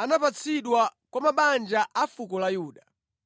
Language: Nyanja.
anapatsidwa kwa mabanja a fuko la Yuda.